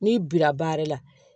N'i bira baara la